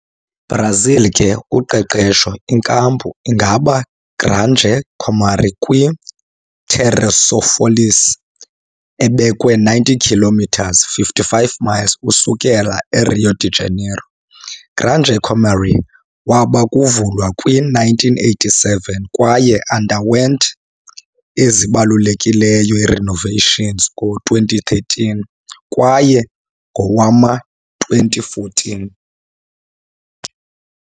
Brazil ke uqeqesho inkampu ingaba Granja Comary kwi - Teresópolis, ebekwe 90 kilometres, 55 miles, ukususela Rio de Janeiro. Granja Comary waba kuvulwa kwi-1987, kwaye underwent ezibalulekileyo renovations ngo-2013, kwaye ngowama-2014.